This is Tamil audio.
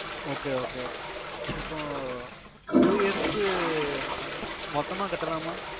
Okay Okay இப்போ Two years க்கு மொத்தமா கட்ட லாமா